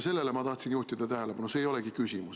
Sellele ma tahtsin tähelepanu juhtida, see ei olegi küsimus.